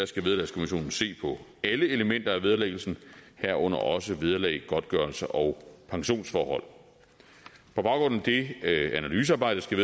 skal vederlagskommissionen se på alle elementer af vederlæggelsen herunder også vederlag godtgørelse og pensionsforhold på baggrund af det analysearbejde skal